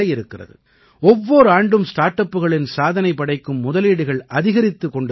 ஒவ்வோர் ஆண்டும் ஸ்டார்ட் அப்களின் சாதனை படைக்கும் முதலீடுகள் அதிகரித்துக் கொண்டிருக்கின்றன